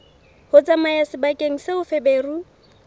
ho tsamaya sebakeng seo feberu